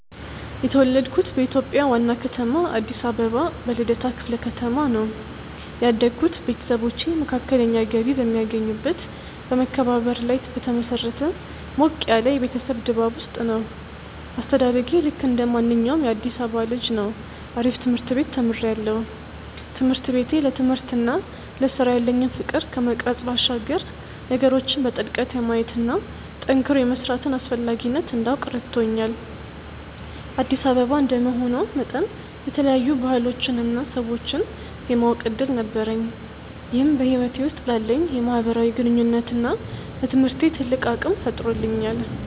የተወለድኩት በኢትዮጵያ ዋና ከተማ አዲስ አበባ በልደታ ክፍለ ከተማ ነው። ያደግኩት ቤተሰቦቼ መካከለኛ ገቢ በሚያገኙበት በመከባበርና ላይ በተመሰረተ ሞቅ ያለ የቤተሰብ ድባብ ውስጥ ነው። አስተዳደጌ ልክ እንደማንኛውም የአዲሳባ ልጅ ነው አሪፍ ትምርት ቤት ተምሪያለሁ። ትምህርት ቤቴ ለትምህርትና ለስራ ያለኝን ፍቅር ከመቅረጽ ባሻገር ነገሮችን በጥልቀት የማየትና ጠንክሮ የመስራትን አስፈላጊነት እንዳውቅ ረድቶኛል። አዲስ አበባ እንደመሆኗ መጠን የተለያዩ ባህሎችንና ሰዎችን የማወቅ እድል ነበረኝ ይህም በህይወቴ ውስጥ ላለኝ የማህበራዊ ግንኙነትና ለትምህርቴ ትልቅ አቅም ፈጥሮልኛል።